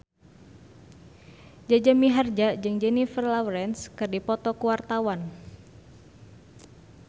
Jaja Mihardja jeung Jennifer Lawrence keur dipoto ku wartawan